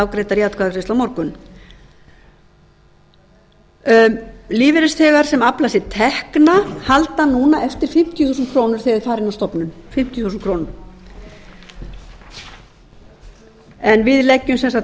afgreiddar í atkvæðagreiðslu á morgun lífeyrisþegar sem afla sér tekna halda núna eftir fimmtíu þúsund krónur þegar þeir fara inn á stofnun en við leggjum sem sagt